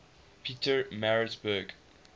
pietermaritzburg